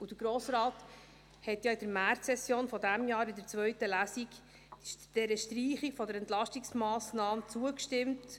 Der Grosse Rat hat ja in der Märzsession dieses Jahres der Streichung der Entlastungsmassnahme in der zweiten Lesung zugestimmt.